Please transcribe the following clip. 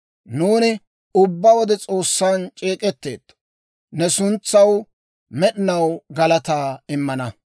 Nuuni ubbaa wode S'oossan c'eek'etteetto; ne suntsaw med'inaw galataa immana.